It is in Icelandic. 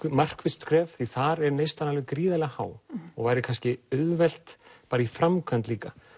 markvisst skref því þar er neyslan alveg gríðarlega há og væri kannski auðvelt í framkvæmd líka